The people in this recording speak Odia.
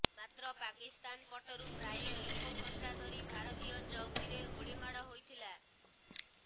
ମାତ୍ର ପାକିସ୍ତାନ ପଟରୁ ପ୍ରାୟ ଏକ ଘଣ୍ଟା ଧରି ଭାରତୀୟ ଚୌକିରେ ଗୁଳିମାଡ ହୋଇଥିଲା